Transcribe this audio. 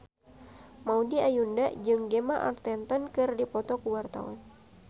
Maudy Ayunda jeung Gemma Arterton keur dipoto ku wartawan